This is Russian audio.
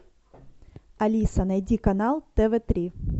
алиса найди канал тв три